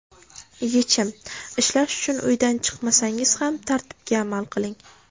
Yechim: Ishlash uchun uydan chiqmasangiz ham tartibga amal qiling.